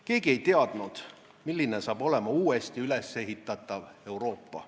Keegi ei teadnud, milliseks kujuneb uuesti üles ehitatav Euroopa.